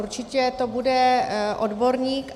Určitě to bude odborník.